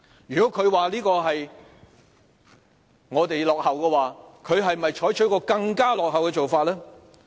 如果他說這是我們落後，他是否採取更落後的做法？